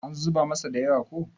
an zuba masa da yawa ko?